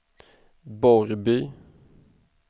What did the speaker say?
Borrby